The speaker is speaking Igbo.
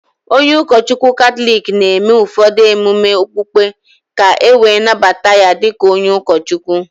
Onye ụkọchukwu Katọlik na-eme ụfọdụ ememe okpukpe ka e wee nnabata ya di ka onye ụkọchukwu.